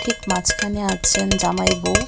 ঠিক মাঝখানে আছেন জামাই বউ.